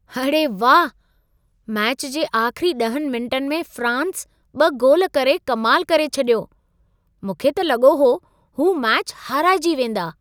अड़े वाह! मैच जे आख़िरी ॾहनि मिंटनि में फ़्रांस ॿ गोल करे कमाल करे छॾियो! मूंखे त लॻो हो हू मैचु हाराइजी वेंदा।